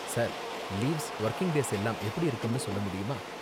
Sir, leaves, working days எல்லாம் எப்படி இருக்கும்னு சொல்ல முடியுமா?